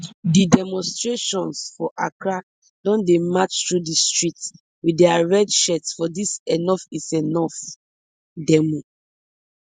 di demonstrators for accra don dey match through di streets wit dia red shirts for dis enoughisenough demo